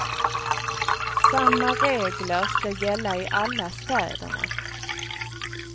Samma regler ska gälla i alla städerna.